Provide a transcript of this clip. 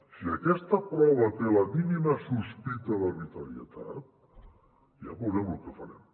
si aquesta prova té la mínima sospita d’arbitrarietat ja veurem lo que farem